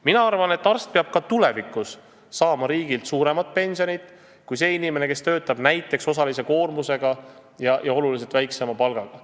Mina arvan, et arst peab ka tulevikus saama riigilt suuremat pensionit kui see inimene, kes töötab osalise koormusega ja oluliselt väiksema palgaga.